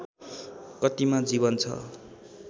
कतिमा जीवन छ